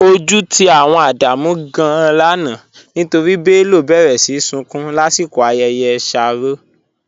Ọju ti awọn Ádámù gàn-an lánà nítorí Bello béré sí súnkún lasikọ̀ ayẹyẹ shárọ̀.